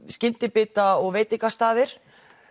skyndibita og veitingastaðir